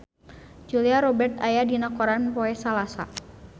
Julia Robert aya dina koran poe Salasa